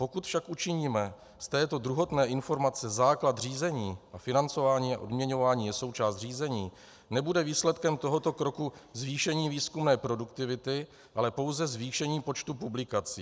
Pokud však učiníme z této druhotné informace základ řízení, a financování a odměňování je součást řízení, nebude výsledkem tohoto kroku zvýšení výzkumné produktivity, ale pouze zvýšení počtu publikací.